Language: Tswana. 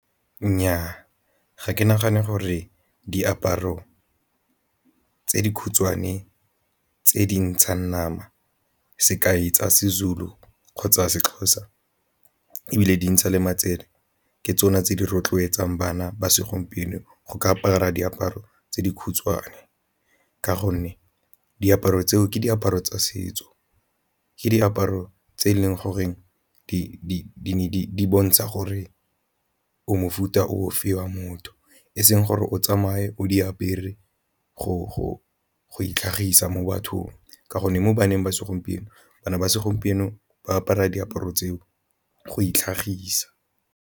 Nnyaa, ga ke nagane gore diaparo tse di khutshwane tse dintshang nama sekai tsa seZulu kgotsa seXhosa ebile di ntsha le matsele ke tsone tse di rotloetsang bana ba segompieno go ka apara diaparo tse di khutshwane, ka gonne diaparo tseo ke diaparo tsa setso ke diaparo tse e leng gore di bontsha gore o mofuta ofe wa motho eseng gore o tsamaye o di apere go itlhagisa mo bathong, ka gonne mo baneng ba segompieno bana ba segompieno ba apara diaparo tseo go itlhagisa.